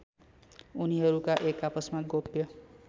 उनीहरूका एकआपसमा गोप्य